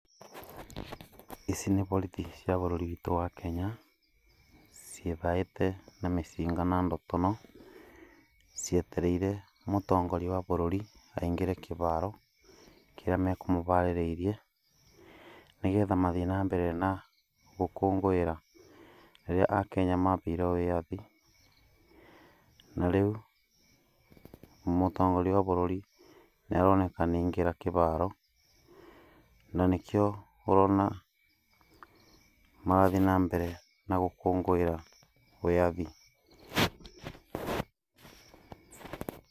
Ici nĩ borithi cia bũrũri witũ wa Kenya, ciĩthaĩte na mĩcinga na ndotono, cietereire mũtongoria wa bũrũri aingĩre kĩbaro kĩrĩa mekũmũbarĩrĩirie, nĩgetha mathiĩ na mbere na gũkũngũĩra rĩrĩa akenya mabeirwo wĩyathi. Na rĩu, mũtongoria wa bũrũri nĩaroneka nĩaingĩra kĩbaro na nĩkĩo ũrona marathiĩ na mbere na gũkũngũĩra wĩyathi.